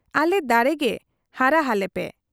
ᱟᱞᱮ ᱫᱟᱲᱮ ᱜᱮ ᱦᱟᱨᱟ ᱦᱟᱞᱮ ᱯᱮ ᱾